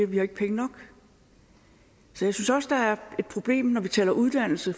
vi har ikke penge nok så jeg synes også der er et problem når vi taler uddannelse